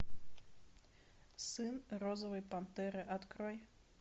сын розовой пантеры открой